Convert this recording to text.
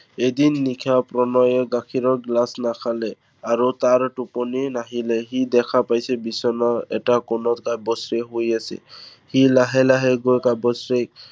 এদিন নিশা প্ৰণয়ে গাখীৰৰ গিলাচ নাখালে, আৰু তাৰ টোপনি নাহিলে। সি দেখা পাইছে, বিচনাৰ এটা কোণত কাব্যশ্ৰীয়ে শুই আছে। সি লাহে লাহে গৈ কাব্যশ্ৰীক